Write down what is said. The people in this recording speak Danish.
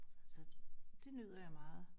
Så det nyder jeg meget